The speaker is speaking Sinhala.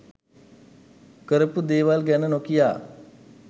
කරපු දේවල් ගැන නොකිය